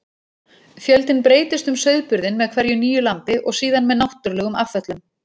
Fjöldinn breytist um sauðburðinn með hverju nýju lambi og síðan með náttúrulegum afföllum.